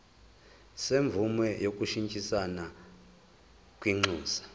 semvume yokushintshisana kwinxusa